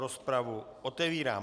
Rozpravu otevírám.